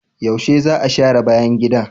Yaushe za a share bayan gida?